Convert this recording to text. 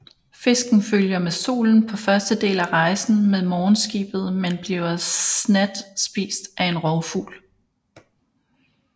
Fisken følger med solen på første del af rejsen med morgenskibet men bliver snat spist af en rovfugl